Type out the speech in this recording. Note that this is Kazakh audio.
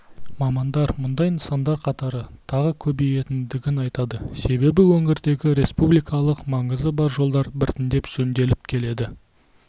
мамандар мұндай нысандар қатары тағы көбейетіндігін айтады себебі өңірдегі республикалық маңызы бар жолдар біртіндеп жөнделіп келеді